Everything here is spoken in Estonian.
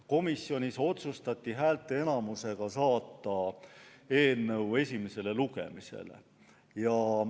Komisjonis otsustati häälteenamusega saata eelnõu esimesele lugemisele.